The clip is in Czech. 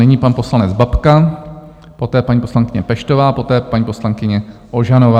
Nyní pan poslanec Babka, poté paní poslankyně Peštová, poté paní poslankyně Ožanová.